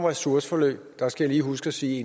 ressourceforløb jeg skal lige huske at sige